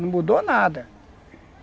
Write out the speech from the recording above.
Não mudou nada.